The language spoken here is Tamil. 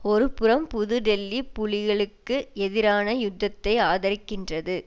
ஒரு புறம் புது டில்லி புலிகளுக்கு எதிரான யுத்தத்தை ஆதரிக்கின்றது